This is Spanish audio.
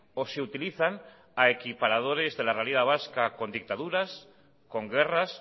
o se utilizan a equiparadores de la realidad vasca con dictaduras con guerras